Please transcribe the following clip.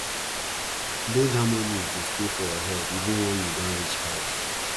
those harmonies dey stay for your head even wen you don reach house